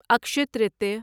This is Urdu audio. اکشے ترتیہ